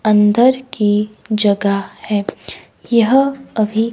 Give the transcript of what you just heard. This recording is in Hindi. अंदर की जगह है यह अभी--